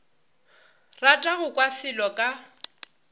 rata go kwa selo ka